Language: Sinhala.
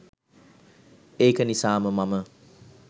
ඒක නිසාම මම